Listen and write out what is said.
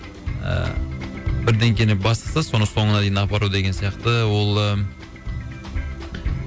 ыыы бірдеңкені бастаса соны соңына дейін апару деген сияқты ол ы